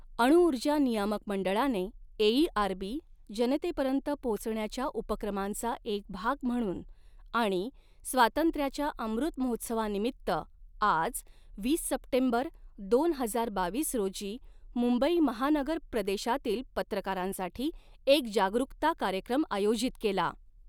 अणुऊर्जा नियामक मंडळाने एईआरबी, जनतेपर्यंत पोहोचण्याच्या उपक्रमांचा एक भाग म्हणून आणि स्वातंत्र्याच्या अमृत महोत्सवानिमित्त आज, वीस सप्टेंबर दोन हजार बावीस रोजी मुंबई महानगर प्रदेशातील पत्रकारांसाठी एक जागरुकता कार्यक्रम आयोजित केला.